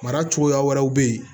Mara cogoya wɛrɛw bɛ yen